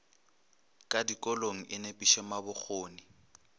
ka dikolong e nepiše mabokgone